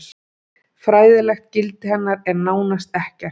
fræðilegt gildi hennar er nánast ekkert